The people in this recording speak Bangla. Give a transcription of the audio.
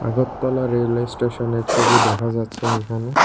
আগরতলা রেলওয়ে স্টেশন এর ছবি দেখা যাচ্ছে এইখানে।